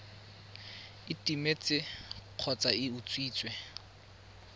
e timetse kgotsa e utswitswe